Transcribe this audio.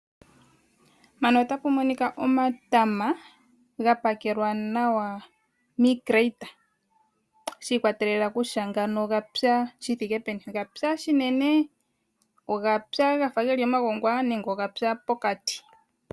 Mpano otapu monika omatama ga pakelwa nawa mii crate shi ikwatelela kutya ngano ogapya shi thike peni, ogapya shinene, ogapya gafa geli omagongwa nenge ogapya pokati.